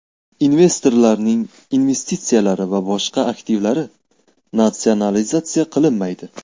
Investorlarning investitsiyalari va boshqa aktivlari natsionalizatsiya qilinmaydi.